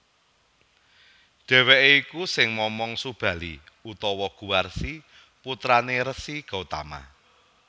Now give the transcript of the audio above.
Dheweke iku sing momong Subali utawa Guwarsi putrané Resi Gotama